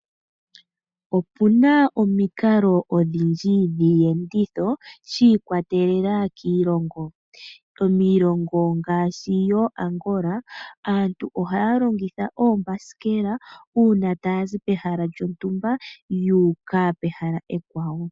Opu na omikalo odhindji dhiiyenditho shi ikwatelela kiilongo. Miilongo ngaashi yooAngola aantu ohaya longitha oombasikela uuna taya zi pehala lyontumba ya uka pehala ekwawo.